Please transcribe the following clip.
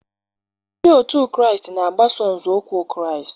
Ndị otu Kraịst na-agbaso nzọụkwụ Kraịst.